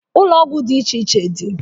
Ụlọ ọgwụ dị iche iche dị